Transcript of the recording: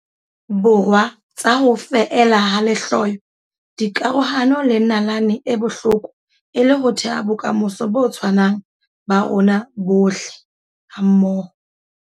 Borwa tsa ho feela ha lehloyo, dikarohano le nalane e bohloko e le ho theha bokamoso bo tshwanang ba rona bohle hammoho.